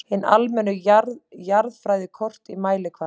Hin almennu jarðfræðikort í mælikvarða